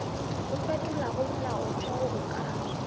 o fetolago molaotheo o ka